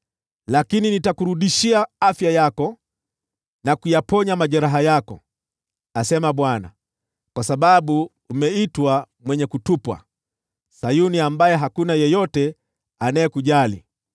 Lakini nitakurudishia afya yako na kuyaponya majeraha yako,’ asema Bwana , ‘kwa sababu umeitwa mwenye kutupwa, Sayuni ambaye hakuna yeyote anayekujali.’